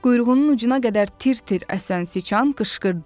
Quyruğunun ucuna qədər tir-tir əsən siçan qışqırdı.